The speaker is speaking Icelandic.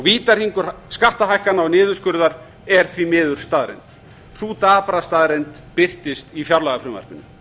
vítahringur skattahækkana og niðurskurðar er því miður staðreynd sú dapra staðreynd birtist í fjárlagafrumvarpinu